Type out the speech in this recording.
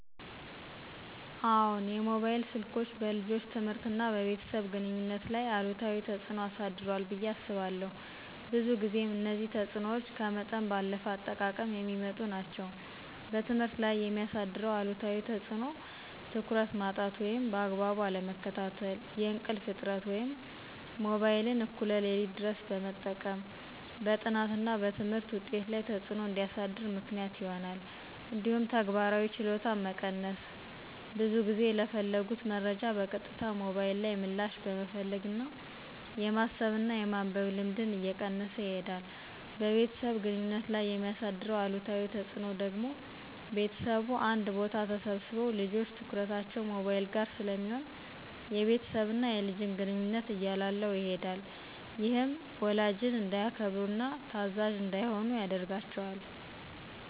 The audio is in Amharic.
አዎን፣ የሞባይል ስልኮች በልጆች ትምህርትና በቤተሰብ ግንኙነት ላይ አሉታዊ ተጽዕኖ አሳድሯል ብየ አስባለሁ። ብዙ ጊዜም እነዚህ ተጽዕኖዎች ከመጠን ባለፈ አጠቃቀም የሚመጡ ናቸው። በትምህርት ላይ የሚያሳድረው አሉታዊ ተፅዕኖ ትኩረት ማጣት ወይም በአግባቡ አለመከታተል፣ የእንቅልፍ እጥረት(ሞባይልን እኩለ ሌሊት ድረስ በመጠቀም) በጥናትና በትምህርት ውጤት ላይ ተፅዕኖ እንዲያሳድር ምክንያት ይሆናል። እንዲሁም ተግባራዊ ችሎታን መቀነስ(ብዙ ጊዜ ለፈለጉት መረጃ በቀጥታ ሞባይል ላይ ምላሽ በመፈለግ የማሰብና የማንበብ ልምድን እየቀነሰ ይሄዳል። በቤተሰብ ግንኙነት ላይ የሚያሳድረው አሉታዊ ተፅዕኖ ደግሞ ቤተሰቡ አንድ ቦታ ተሰብስበው ልጆች ትኩረታቸው ሞባይል ጋር ስለሚሆን የቤተሰብና የልጅን ግንኙነት እያላላው ይሄዳል። ይህም ወላጅን እንዳያከብሩና ታዛዥ እንዳይሆኑ ያደርጋቸዋል።